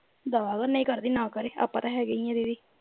ਦਫ਼ਾ ਹੋ ਨਹੀਂ ਕਰਦੀ ਨਾ ਕਰੇ ਆਪਾਂ ਤਾਂ ਹੈਗੇ ਈ ਦੀਦੀ